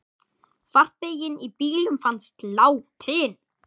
Farþegi í bílnum fannst látinn.